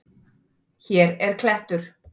Hér er klettur.